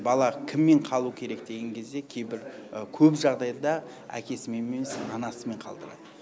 бала кіммен қалу керек деген кезде кейбір көп жағдайда әкесімен емес анасымен қалдырады